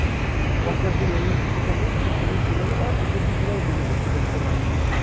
পঞ্চাশ দিন এমনি ছুটি থাকে, বেশ শরীর চলে গেলো, আর দু'শো দিন এদিক-ওদিক কেটে-কুটে বার করা যায়।